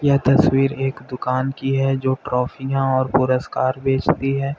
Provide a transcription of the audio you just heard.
यह तस्वीर एक दुकान की है जो ट्राफियां और पुरस्कार बेचती है।